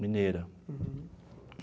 Mineira.